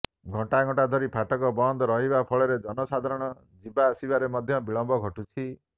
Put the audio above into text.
ଘଂଟା ଘଂଟା ଧରି ଫାଟକ ବନ୍ଦ ରହିବା ଫଳରେ ଜନସାଧାରଣ ଯିବା ଆସିବାରେ ମଧ୍ୟ ବିଳମ୍ବ ଘଟୁଛି